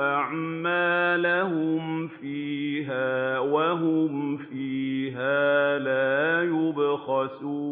أَعْمَالَهُمْ فِيهَا وَهُمْ فِيهَا لَا يُبْخَسُونَ